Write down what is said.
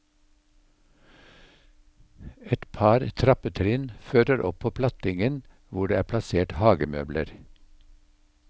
Et par trappetrinn fører opp på plattingen hvor det er plassert hagemøbler.